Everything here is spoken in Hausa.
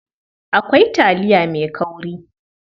Akwai taliya mai kauri.